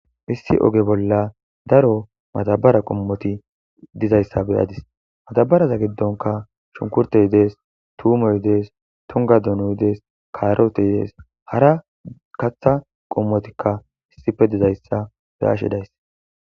Issi oge bolla daro matabara qommoti dizayssa beyadis matabaraza giddonka shunkurte dees tuumoy dees tunga donuy dees kaaroteydees hara katha qommotikka issife dizayssa beashe days